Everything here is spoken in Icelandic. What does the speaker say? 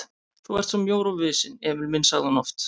Þú ert svo mjór og visinn, Emil minn sagði hún oft.